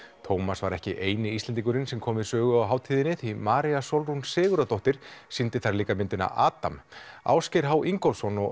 Tómas var ekki eini Íslendingurinn sem kom við sögu á hátíðinni því María Sólrún Sigurðardóttir sýndi þar líka myndina Adam Ásgeir h Ingólfsson og